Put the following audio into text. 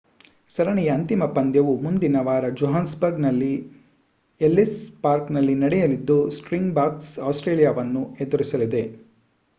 ಸರಣಿಯ ಅಂತಿಮ ಪಂದ್ಯವು ಮುಂದಿನ ವಾರ ಜೋಹಾನ್ಸ್‌ಬರ್ಗ್‌ನ ಎಲ್ಲಿಸ್ ಪಾರ್ಕ್‌ನಲ್ಲಿ ನಡೆಯಲಿದ್ದು ಸ್ಪ್ರಿಂಗ್‌ಬಾಕ್ಸ್ ಆಸ್ಟ್ರೇಲಿಯಾವನ್ನು ಎದುರಿಸಲಿದೆ